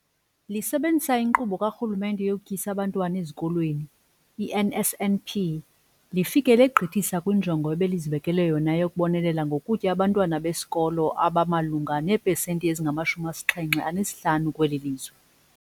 Lisebenzisa iNkqubo kaRhulumente yokuTyisa Abantwana Ezikolweni, i-NSNP, lifike legqithisa kwinjongo ebelizibekele yona yokubonelela ngokutya abantwana besikolo abamalunga neepesenti ezingamahlumi asixhenxe anesihlanu kweli lizwe.